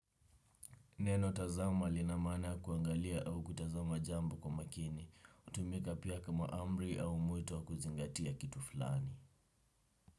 Neno tazama lina maana ya kuangalia au kutazama jambo kwa makini, hutumika pia kama amri au mwito wa kuzingatia kitu fulani.